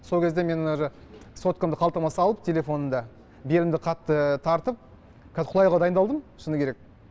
сол кезде мен уже соткамды қалтама салып телефонымды белімді қатты тартып қазір құлауға дайындалдым шыны керек